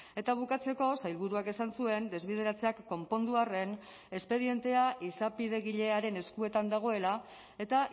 eta bukatzeko sailburuak esan zuen desbideratzeak konpondu arren espedientea izapidegilearen eskuetan dagoela eta